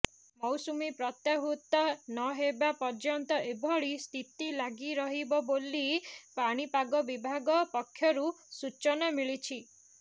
ମୌସୁମି ପ୍ରତ୍ୟାହୃତ ନହେବା ପର୍ଯ୍ୟନ୍ତ ଏଭଳି ସ୍ଥିତି ଲାଗିରହିବ ବୋଲି ପାଣିପାଗ ବିଭାଗ ପକ୍ଷରୁ ସୂଚନା ମିଳିଛି